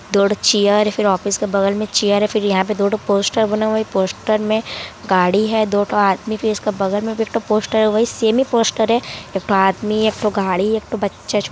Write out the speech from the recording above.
दो ठो चेयर फिर ऑफिस के बगल में चेयर है फिर यहां पर दो ठो पोस्टर बना हुआ है पोस्टर में गाड़ी है दो ठो आदमी उसके बगल में भी पोस्टर है वहीं सेमे पोस्टर है एकठो आदमी एकठो गाड़ी एकठो बच्चा।